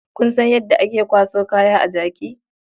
Kun san yadda ake kwaso kaya a jaki?